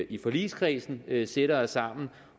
i forligskredsen sætter os sammen